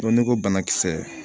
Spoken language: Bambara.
n'i ko bana kisɛ